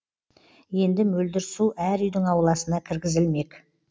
енді мөлдір су әр үйдің ауласына кіргізілмек